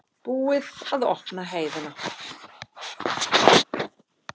Búið að opna heiðina